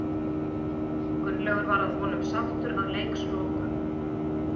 Gunnlaugur var að vonum sáttur að leikslokum.